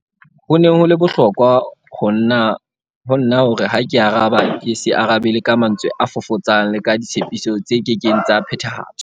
Ho ne ho le bohlokwa ho nna hore ha ke araba ke se arabele ka mantswe a fofotsang le ka ditshepiso tse kekeng tsa phethahatswa.